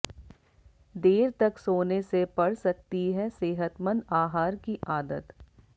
देर तक सोने से पड़ सकती है सेहतमंद आहार की आदत